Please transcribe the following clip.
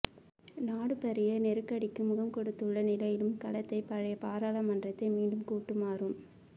நாடு பாரிய நெருக்கடிக்கு முகங்கொடுத்துள்ள நிலையிலும் கலைத்த பழைய பாராளுமன்றத்தை மீண்டும் கூட்டுமாறும்